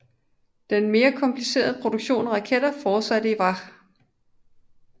Den mere komplicerede produktion af raketter fortsatte i Vach